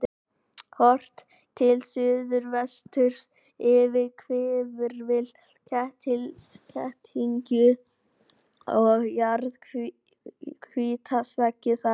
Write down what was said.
Horft til suðvesturs yfir hvirfil Ketildyngju og jarðhitasvæðið þar.